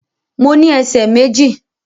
Mo ní ẹsẹ̀ méjì